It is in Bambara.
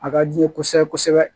A ka di n ye kosɛbɛ kosɛbɛ